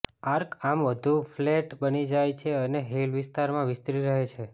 arc આમ વધુ flat બની જાય છે અને હીલ વિસ્તાર વિસ્તરી રહી છે